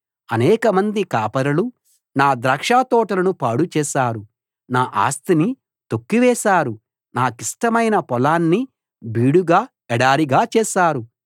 అనేకమంది కాపరులు నా ద్రాక్షతోటలను పాడు చేశారు నా ఆస్తిని తొక్కివేశారు నాకిష్టమైన పొలాన్ని బీడుగా ఎడారిగా చేశారు